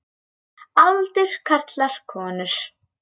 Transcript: Aldur karlar konur